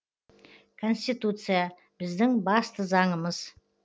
конституция біздің басты заңымыз